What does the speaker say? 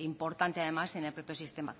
importante además en el propio sistema